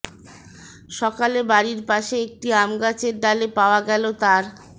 সকালে বাড়ির পাশে একটি আমগাছের ডালে পাওয়া গেল তার